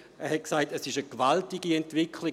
Er hat gesagt, es sei eine gewaltige Entwicklung.